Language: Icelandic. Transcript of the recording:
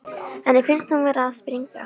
Henni finnst hún vera að springa.